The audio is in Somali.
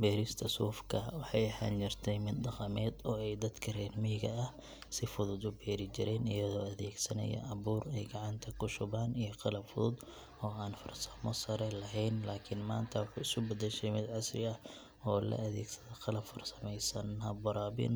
Beerista sufka waxay ahaan jirtay mid dhaqameed oo ay dadka reer miyiga ah si fudud u beeri jireen iyagoo adeegsanaya abuur ay gacanta ku shubaan iyo qalab fudud oo aan farsamo sare lahayn laakiin maanta waxay isu beddeshay mid casri ah oo la adeegsado qalab farsameysan, hab waraabin